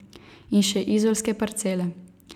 In še izolske parcele.